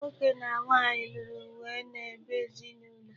Nwoke na nwanyị lụrụ wee n'ebe ezinụlọ.